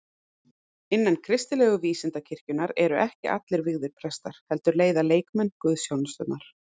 Innan kristilegu vísindakirkjunnar eru ekki vígðir prestar, heldur leiða leikmenn guðsþjónusturnar.